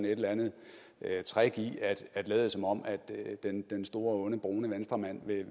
et eller andet trick i at lade som om den store onde brune venstremand